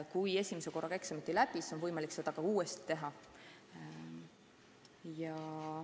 Kui esimese korraga eksamit ei läbi, siis on võimalik seda ka uuesti teha.